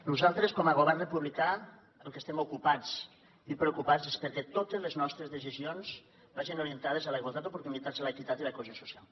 nosaltres com a govern republicà pel que estem ocupats i preocupats és perquè totes les nostres decisions vagin orientades a la igualtat d’oportunitats l’equitat i la cohesió social